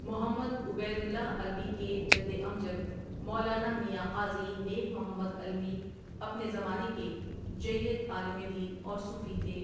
محمد Ubaidullah Alvi کے جد امجد مولانا میاں قاضی نیک محمد علوی اپنے زمانے کے جیّد عالم دین اورصوفی تھے ۔